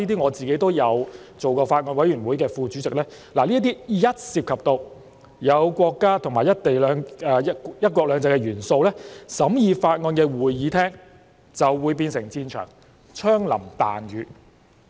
我也曾是某法案委員會的副主席，深知一旦涉及國家和"一國兩制"的元素，審議法案的會議廳便會變成戰場，槍林彈雨。